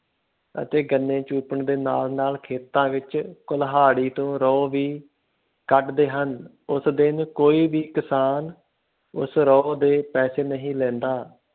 ਅਤੇ ਗੰਨੇ ਚੂਪਣ ਦੇ ਨਾਲ ਨਾਲ ਖੇਤਾਂ ਵਿੱਚ ਕੁਲਹਾੜੀ ਤੋਂ ਰੋਹ ਵੀ ਕੱਢਦੇ ਹਨ, ਉਸ ਦਿਨ ਕੋਈ ਵੀ ਕਿਸਾਨ ਉਸ ਰੋਹ ਦੇ ਪੈਸੇ ਨਹੀਂ ਲੈਂਦਾ,